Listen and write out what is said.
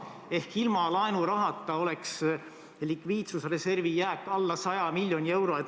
Seega, ilma laenurahata oleks likviidsusreservi jääk alla 100 miljoni euro.